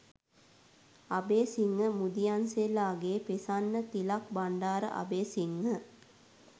Abeysinghe Mudiyanselage Prasanna Thilak Bandara Abeysinghe .